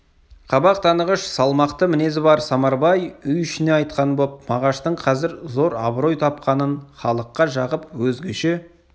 қабақ танығыш салмақты мінезі бар самарбай үй ішіне айтқан боп мағаштың қазір зор абырой тапқанын халыққа жағып өзгеше